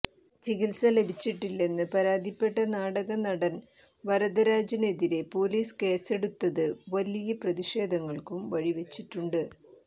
ചികിത്സ ലഭിച്ചിട്ടില്ലെന്ന് പരാതിപ്പെട്ട നാടക നടൻ വരദരാജനെതിരെ പോലീസ് കേസെടുത്തത് വലിയ പ്രതിഷേധങ്ങൾക്കും വഴി വെച്ചിട്ടുണ്ട്